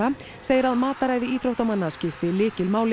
segir að mataræði íþróttamanna skipti lykilmáli